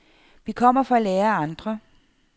Vi kommer for at lære af andre.